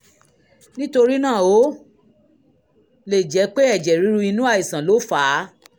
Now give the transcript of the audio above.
mo lè lóye ohun tó ń gbé e yín lọ́kàn